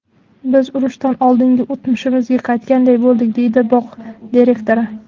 Biz urushdan oldingi o‘tmishimizga qaytganday bo‘ldik”, deydi bog‘ direktori.